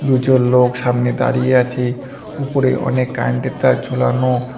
দুজন লোক সামনে দাঁড়িয়ে আছে উপরে অনেক কারেন্ট -এর তার ঝোলানো।